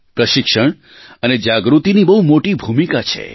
પ્રશિક્ષણ અને જાગૃતિની બહુ મોટી ભૂમિકા છે